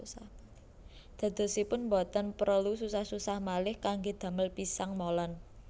Dadosipun boten prelu susah susah malih kanggé damel pisang molen